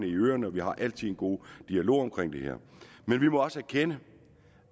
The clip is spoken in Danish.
i øerne og vi har altid en god dialog om det her men vi må også erkende